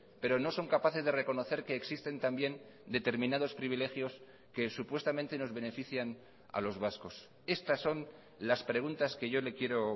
pero no son capaces de reconocer que existen también determinados privilegios que supuestamente nos benefician a los vascos estas son las preguntas que yo le quiero